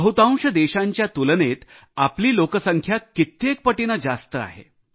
बहुतांश देशांच्या तुलनेत आपली लोकसंख्या कित्येक पटीने जास्त आहे